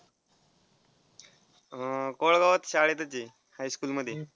अह कोळगावात शाळेतच आहे high school मध्ये.